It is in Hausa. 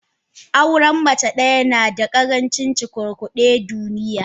Auren mace daya nada karancin cukurkude deniya.